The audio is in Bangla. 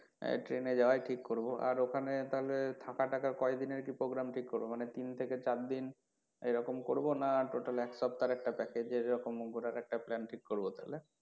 train এ যাওয়াই ঠিক করবো আর ওখানে একটা তাহলে টাকা টাকার কয়দিনের কি program ঠিক করবো মানে তিন থেকে চার দিন এরকম করবো না total এক সপ্তাহর একটা package এরকম একটা plan ঠিক করবো তাহলে?